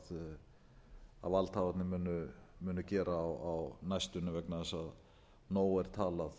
um að valdhafarnir muni gera á næstunni vegna þess að nóg er talað